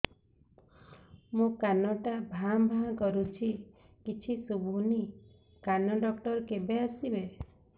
ମୋ କାନ ଟା ଭାଁ ଭାଁ କରୁଛି କିଛି ଶୁଭୁନି କାନ ଡକ୍ଟର କେବେ ଆସିବେ